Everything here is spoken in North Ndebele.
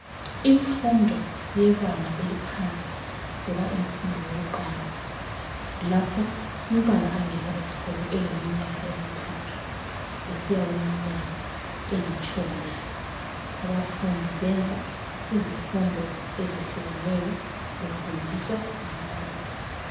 Imfundo yebanga eliphansi loba imfundo yokuqala lapho umntwana angena esikolo eleminyaka emithathu kusiya kuminyaka elitshumi lane, abafundi benza izifundo ezitshiyeneyo befundiswa ngababalisi.